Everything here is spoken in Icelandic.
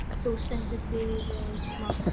Þú stendur þig vel, Mangi!